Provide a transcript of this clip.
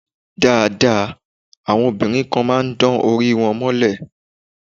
Dáadáa, àwọn obìnrin kan máa ń dán orí wọn mọ́lẹ̀.